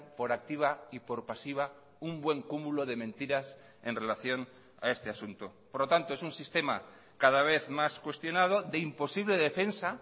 por activa y por pasiva un buen cúmulo de mentiras en relación a este asunto por lo tanto es un sistema cada vez más cuestionado de imposible defensa